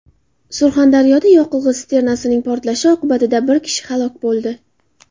Surxondaryoda yoqilg‘i sisternasining portlashi oqibatida bir kishi halok bo‘ldi.